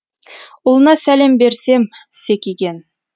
ұлына сәлем берсем секиген